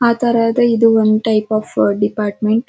ಆಧಾರ್ ಆದ್ರೆ ಎಡ್ one type of department .